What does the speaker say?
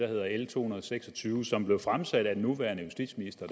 hedder l to hundrede og seks og tyve som dengang blev fremsat af den nuværende justitsminister